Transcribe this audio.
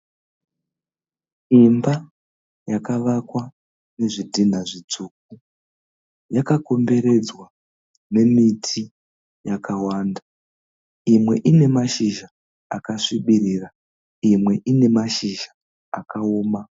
Imba yakavakwa nezvidhinha zvitsvuku. Yakakomberedzwa nemiti yakawanda. Imwe ine mashizha akasvibirira, imwe ine mashizha akaoma.